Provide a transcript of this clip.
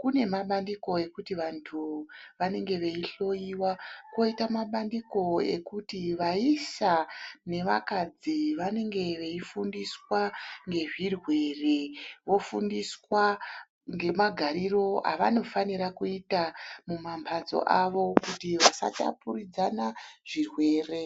kune mabandiko ekuti vantu vanenge veihloyiwa koita mabandiko ekuti vaisa nevakadzi vanenge veifundiswa ngezvirwere vofundiswa ngemagariro avanofanira kuita mumamphatso avo vasatapuridzana zvirwere.